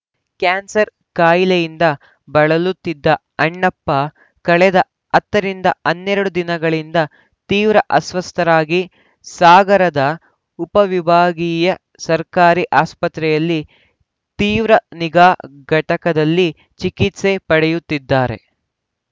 cancer ಕಾಯಿಲೆಯಿಂದ ಬಳಲುತ್ತಿದ್ದ ಅಣ್ಣಪ್ಪ ಕಳೆದ ಹತ್ತ ರಿಂದ ಹನ್ನೆರಡು ದಿನಗಳಿಂದ ತೀವ್ರ ಅಸ್ವಸ್ಥರಾಗಿ ಸಾಗರದ ಉಪವಿಭಾಗೀಯ ಸರ್ಕಾರಿ ಆಸ್ಪತ್ರೆಯಲ್ಲಿ ತೀವ್ರ ನಿಗಾ ಘಟಕದಲ್ಲಿ ಚಿಕಿತ್ಸೆ ಪಡೆಯುತ್ತಿದ್ದರು